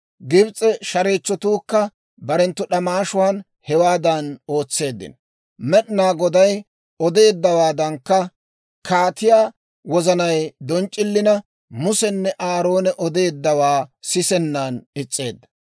Gibs'e shareechchotuukka barenttu d'amaashuwan hewaadan ootseeddino; Med'inaa Goday odeeddawaadankka kaatiyaa wozanay donc'c'ilina, Musenne Aaroone odeeddawaa sisennan is's'eedda.